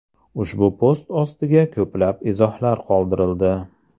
Ushbu post ostiga ko‘plab izohlar qoldirildi.